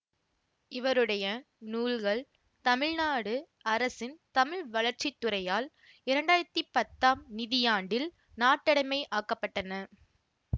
இவருடைய நூல்கள் தமிழ்நாடு அரசின் தமிழ் வளர்ச்சி துறையால் இரண்டு ஆயிரத்தி பத்தாம் நிதியாண்டில் நாட்டடைமை ஆக்கப்பட்டன